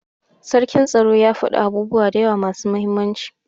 sarkin tsaro ya fada abubuwa dayawa masu muhimmanci.